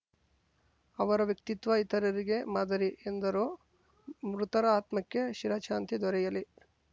ಅವರ ವ್ಯಕ್ತಿತ್ವ ಇತರರಿಗೆ ಮಾದರಿ ಎಂದರು ಮೃತರ ಆತ್ಮಕ್ಕೆ ಚಿರಶಾಂತಿ ದೊರೆಯಲಿ